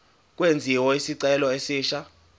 kwenziwe isicelo esisha